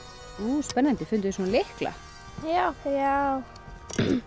spennandi funduð þið svona lykla já